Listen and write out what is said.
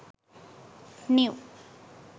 new